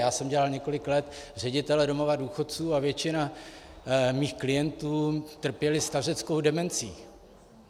Já jsem dělal několik let ředitele domova důchodců a většina mých klientů trpěla stařeckou demencí.